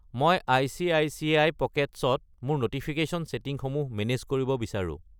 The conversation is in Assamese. মই আই.চি.আই.চি.আই. পকেটছ্‌ ত মোৰ ন'টিফিকেশ্যন ছেটিংসমূহ মেনেজ কৰিব বিচাৰো।